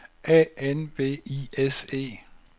A N V I S E